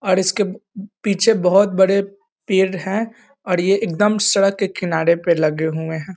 और इसके पीछे बहुत बड़े पेड़ है और ये एकदम सड़क के किनारे पर लगे हुए हैं।